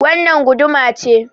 Wannan guduma ce.